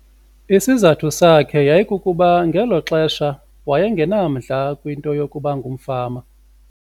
Isizathu sakhe yayikukuba ngelo xesha waye ngenamdla kwinto yokuba ngumfama.